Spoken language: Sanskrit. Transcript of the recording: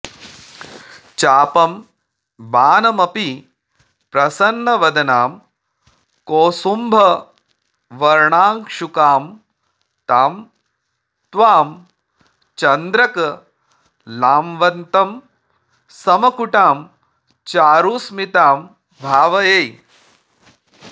चापं बाणमपि प्रसन्नवदनां कौसुम्भवर्णांशुकां तां त्वां चन्द्रक लांवतंसमकुटां चारुस्मितां भावये